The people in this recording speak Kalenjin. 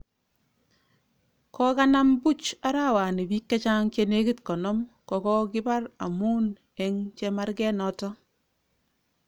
Kokanam buch arawani bik chechang chenekit konom kokokibar amun eng chemarga noton.